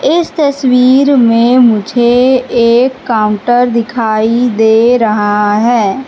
इस तस्वीर में मुझे एक काउंटर दिखाई दे रहा है।